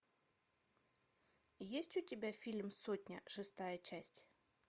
есть у тебя фильм сотня шестая часть